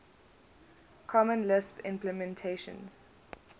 common lisp implementations